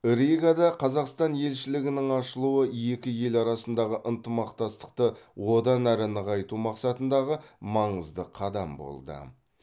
ригада қазақстан елшілігінің ашылуы екі ел арасындағы ынтымақтастықты одан әрі нығайту мақсатындағы маңызды қадам болды